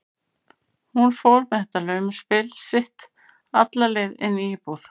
Hún fór með þetta laumuspil sitt alla leið inn í íbúð